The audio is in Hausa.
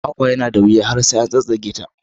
Kwakwa yana da wuya har sai an tsattsage ta.